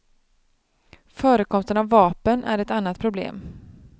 Förekomsten av vapen är ett annat problem.